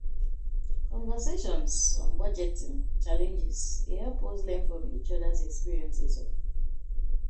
Conversations on budgeting challenges dey help us learn from each other's experiences.